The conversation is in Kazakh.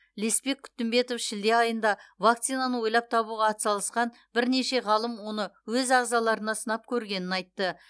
леспек күтімбетов шілде айында вакцинаны ойлап табуға атсалысқан бірнеше ғалым оны өз ағзаларына сынап көргенін айтты